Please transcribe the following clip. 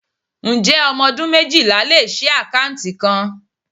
Ǹjẹ́ ọmọ ọdún méjìlá lè ṣii akanti kan?